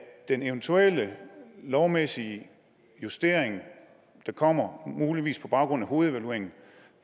den eventuelle lovmæssige justering der kommer muligvis på baggrund af hovedevalueringen